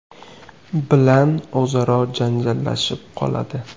bilan o‘zaro janjallashib qoladi.